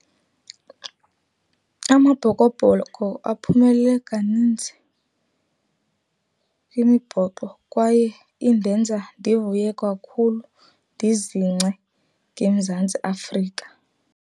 Amabhokobhoko aphumelele kaninzi kwimibhoxo kwaye indenza ndivuye kakhulu, ndizingce ngeMzantsi Afrika.